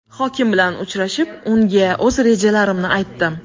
Hokim bilan uchrashib, unga o‘z rejalarimni aytdim.